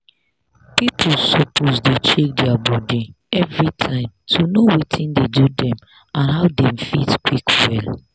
people suppose dey check their body everytime to know watin dey do dem and how dem fit quick well.